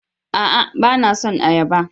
A'a! Ba na son ayaba.